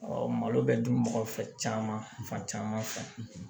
malo bɛ dun mɔgɔ fɛ caman fan caman fɛ